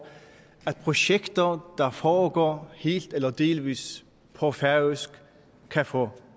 at projekter der foregår helt eller delvist på færøsk kan få